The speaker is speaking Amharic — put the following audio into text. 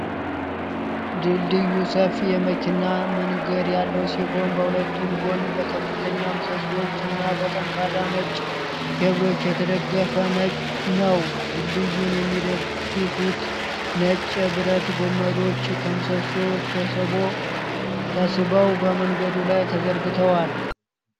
ድልድዩ ሰፊ የመኪና መንገድ ያለው ሲሆን፣ በሁለቱም ጎን በከፍተኛ ምሰሶዎች እና በጠንካራ ነጭ ኬብሎች የተደገፈ ነው። ድልድዩን የሚደግፉት ነጭ የብረት ገመዶች ከምሰሶቹ ተስበው በመንገዱ ላይ ተዘርግተዋል።